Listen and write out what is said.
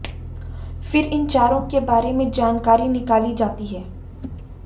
फिर इन चारों के बारे में जानकारी निकाली जाती है